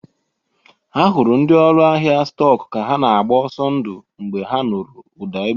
A hụrụ ndị ọrụ ahịa stọk ka ha na-agba ọzọ ndụ mgbe ha nụrụ ụda egbe.